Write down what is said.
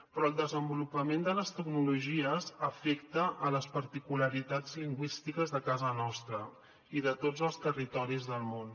però el desenvolupament de les tecnologies afecta les particularitats lingüístiques de casa nostra i de tots els territoris del món